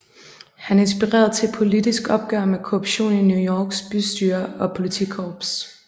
Han inspirerede til et politisk opgør med korruption i New Yorks bystyre og politikorps